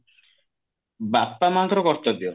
ବାପା ମାଙ୍କର କର୍ତବ୍ୟ